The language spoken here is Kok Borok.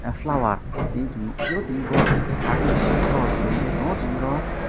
flower tini chong nogpio tini bo artificial flower chong nong ye tini bo.